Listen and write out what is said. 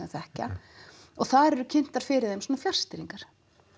þekkja og þar eru kynntar fyrir þeim svona fjarstýringar